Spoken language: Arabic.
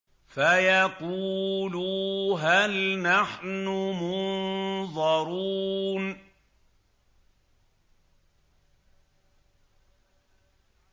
فَيَقُولُوا هَلْ نَحْنُ مُنظَرُونَ